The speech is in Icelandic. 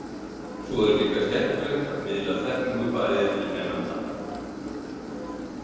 Svo er líka skemmtilegt að miðla þekkingu bæði til nemenda.